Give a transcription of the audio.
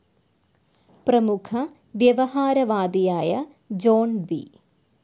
പ്രമുഖ വ്യവഹാര വാദിയായ ജോൺ ബി,